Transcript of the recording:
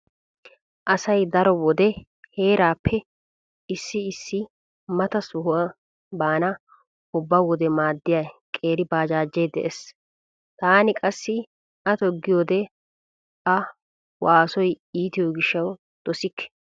Asay daro wode heerappe issi issi mata soha baana ubba wode maaddiya qeeri baajaajee dees. Taani qassi a toggiyode a waasoy iitiyo gishshawu dosikke.